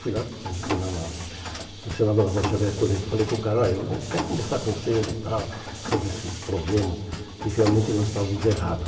Fui lá, funcionava na Rocha Verde Toledo, falei com o cara, olha, a gente quer conversar contigo e tal sobre esse problema que realmente nós estávamos errados.